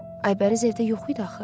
Aybəniz evdə yox idi axı.